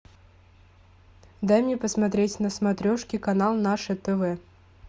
дай мне посмотреть на смотрешке канал наше тв